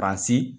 Basi